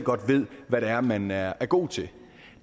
ved hvad det er man er er god til